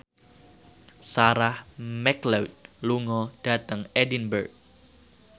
Sarah McLeod lunga dhateng Edinburgh